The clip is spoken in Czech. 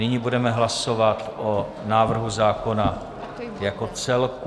Nyní budeme hlasovat o návrhu zákona jako celku.